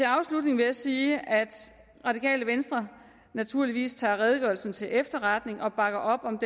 afslutning vil jeg sige at radikale venstre naturligvis tager redegørelsen til efterretning og bakker op om